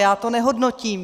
Já to nehodnotím.